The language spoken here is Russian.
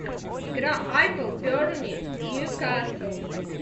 игра апл бернли ньюкасл